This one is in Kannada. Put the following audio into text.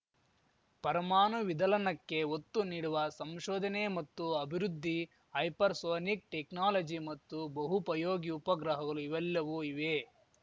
ಪರಮಾನು ವಿದಲನಕ್ಕೆ ಒತ್ತು ನೀಡುವ ಸಂಶೋಧನೆ ಮತ್ತು ಅಭಿವೃದ್ಧಿ ಹೈಪರ್‌ಸೋನಿಕ್‌ ಟೆಕ್ನಾಲಜಿ ಮತ್ತು ಬಹೂಪಯೋಗಿ ಉಪಗ್ರಹಗಲು ಇವೆಲ್ಲವೂ ಇವೆ